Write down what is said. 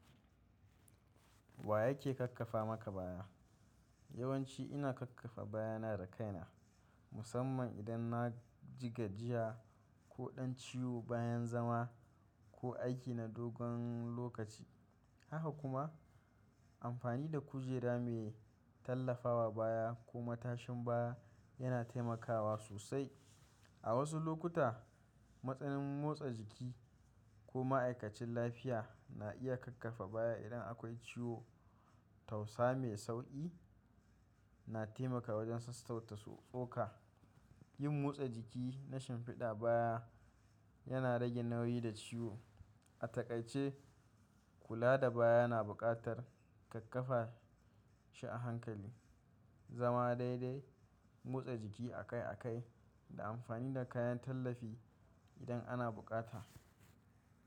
Wa yake kakkafa maka baya? Yawanci ina kakkafa baya na da kaina, musamman idan naji gajiya ko dan ciwo bayan zama ko aiki na dogon lokaci. Haka kuma amfani da kujera mai tallafawa baya ko matashin baya yana taimakawa sosai. A wasu lokuta, matsin motsa jiki ko ma'aikacin lafiya na iya kakkafa baya idan akwai ciwo tausa mai sauƙi yana taimaka wajen sassauta tsoka. Yin motsa jiki na shimfiɗa baya yana rage nauyi da ciwo. A takaice, kula da baya na buƙatar kakkafa shi a hankali, zama daidai, motsa jiki akai-akai da amfani da kayan tallafi idan ana buƙata.